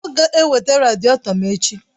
Ọ ga-eweta radịètọ m echi!